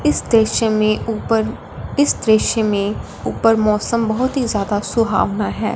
इस दृश्य में ऊपर इस दृश्य में ऊपर मौसम बहोत ही ज्यादा सुहाना हैं।